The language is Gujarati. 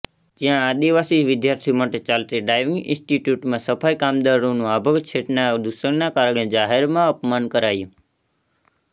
જ્યાં આદિવાસી વિદ્યાર્થીઓ માટે ચાલતી ડ્રાઈવિંગ ઈન્સ્ટિટ્યૂટમાં સફાઈ કામદારોનું આભડછેટના દૂષણના કારણે જાહેરમાં અપમાન કરાયું